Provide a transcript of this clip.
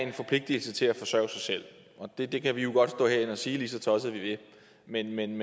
en forpligtelse til at forsørge sig selv og det kan vi jo godt stå herinde og sige lige så tosset vi vil men men